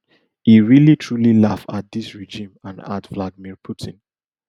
e really truly laugh at dis regime and at vladimir putin